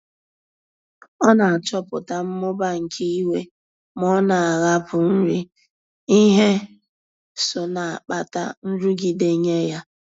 Ọ na-achọpụta mmụba nke iwe ma ọ na-ahapụ nri, ihe so na-akpata nrụgide nye ya.